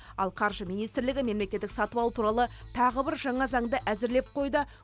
ал қаржы министрлігі мемлекеттік сатып алу туралы тағы бір жаңа заңды әзірлеп қойды